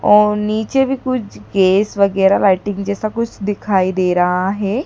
और नीचे भी कुछ केस वगैरा राइटिंग जैसा कुछ दिखाई दे रहा है।